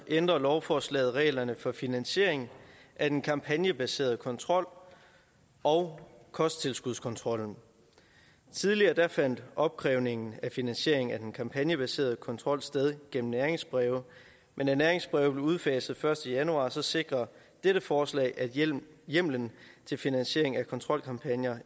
ændrer lovforslaget reglerne for finansiering af den kampagnebaserede kontrol og kosttilskudskontrollen tidligere fandt opkrævning af finansieringen af den kampagnebaserede kontrol sted gennem næringsbreve men da næringsbrevet blev udfaset den første januar sikrer dette forslag at hjemlen til finansiering af kontrolkampagner